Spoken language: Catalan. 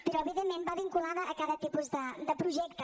però evidentment va vinculada a cada tipus de projecte